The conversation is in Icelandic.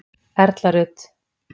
Erla Rut.